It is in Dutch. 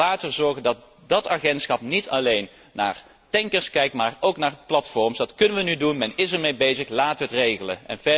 Ik zou zeggen, laten we zorgen dat dat agentschap niet alleen naar tankers kijkt, maar ook naar platforms. Dat kunnen we nu doen. Men is ermee bezig. Laten we het regelen.